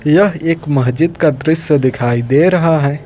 यह एक मस्जिद का दृश्य दिखाई दे रहा है।